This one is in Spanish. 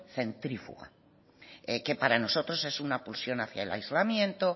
centrífuga que para nosotros es una pulsión hacia el aislamiento